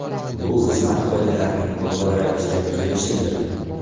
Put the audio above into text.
Bu xizmat qoidalarining qo‘pol ravishda buzilishidir.